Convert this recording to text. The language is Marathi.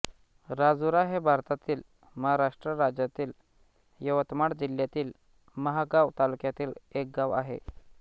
राजुरा हे भारतातील महाराष्ट्र राज्यातील यवतमाळ जिल्ह्यातील महागांव तालुक्यातील एक गाव आहे